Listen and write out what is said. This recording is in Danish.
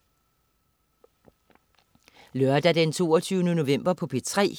Lørdag den 22. november - P3: